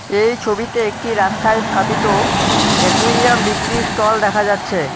এই ছবিতে একটি রাস্তায় স্থাপিত একুইরিয়াম বিক্রির স্টল দেখা যাচ্ছে।